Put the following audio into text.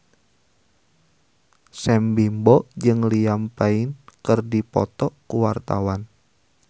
Sam Bimbo jeung Liam Payne keur dipoto ku wartawan